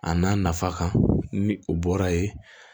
A n'a nafa kan ni o bɔra yen